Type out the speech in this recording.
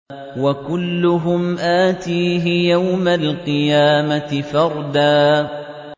وَكُلُّهُمْ آتِيهِ يَوْمَ الْقِيَامَةِ فَرْدًا